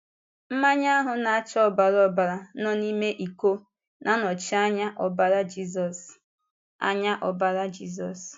Mmanya ahụ na-acha ọbara ọbara nọ n’ime ìkó na-anọchi anya ọbara Jízọs. anya ọbara Jízọs.